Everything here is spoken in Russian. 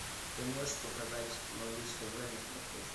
ты можешь показать малыш тв на смотрешке